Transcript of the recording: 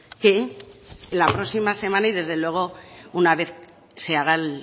qué la próxima semana y desde luego una vez se haga el